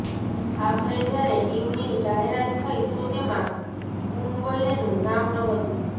આખરે જ્યારે ટીમની જાહેરાત થઈ તો તેમાં કુંબલેનું નામ ન હતું